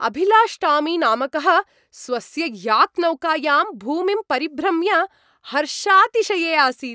अभिलाष् टामी नामकः स्वस्य याक्नौकायां भूमिं परिभ्रम्य हर्षातिशये आसीत्।